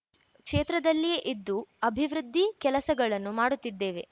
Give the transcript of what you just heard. ಕ್ಷೇತ್ರದಲ್ಲಿಯೇ ಇದ್ದು ಅಭಿವೃದ್ಧಿ ಕೆಲಸಗಳನ್ನು ಮಾಡುತ್ತಿದ್ದೇವೆ